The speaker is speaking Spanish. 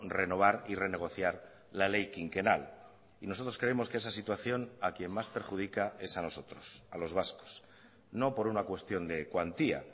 renovar y renegociar la ley quinquenal y nosotros creemos que esa situación a quien más perjudica es a nosotros a los vascos no por una cuestión de cuantía